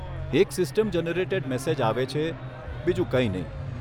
એક system generated message આવે છે, બીજું કઈ નહીં.